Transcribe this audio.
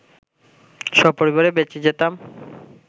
সপরিবারে বেঁচে যেতাম